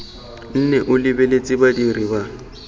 nne o lebeletse badiri ba